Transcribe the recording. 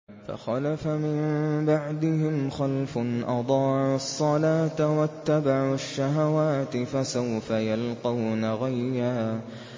۞ فَخَلَفَ مِن بَعْدِهِمْ خَلْفٌ أَضَاعُوا الصَّلَاةَ وَاتَّبَعُوا الشَّهَوَاتِ ۖ فَسَوْفَ يَلْقَوْنَ غَيًّا